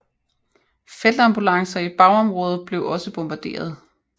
Feltambulancer i bagområdet blev også bombarderet